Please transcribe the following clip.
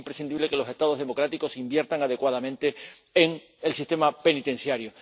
Porque es imprescindible que los Estados democráticos inviertan adecuadamente en el sistema penitenciario.